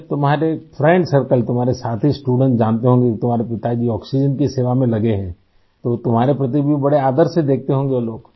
जब तुम्हारे friend circle तुम्हारे साथी स्टूडेंट्स जानते होंगे कि तुम्हारे पिताजी आक्सीजेन की सेवा में लगे हैं तो तुम्हारे प्रति भी बड़े आदर से देखते होंगे वो लोग